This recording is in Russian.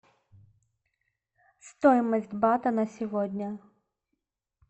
стоимость бата на сегодня